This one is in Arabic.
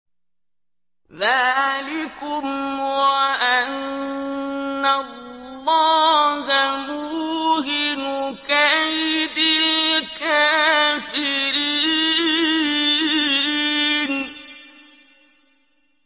ذَٰلِكُمْ وَأَنَّ اللَّهَ مُوهِنُ كَيْدِ الْكَافِرِينَ